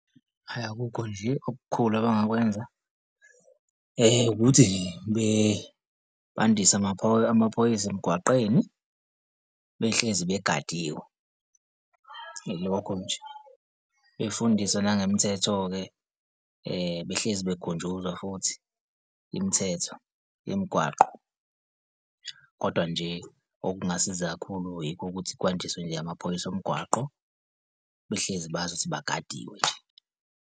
Hhayi, akukho nje okukhulu abangakwenza ukuthi nje bandise amaphoyisa emgwaqeni behlezi begadiwe. Ilokho nje, befundiswe nangemthetho-ke behlezi bekhunjuzwa futhi imithetho yemigwaqo, kodwa nje okungasiza kakhulu, yikho ukuthi kwandiswe nje amaphoyisa omgwaqo behlezi bazi ukuthi bagadiwe nje.